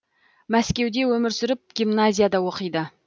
мәскеуде өмір сүріп гимназияда оқиды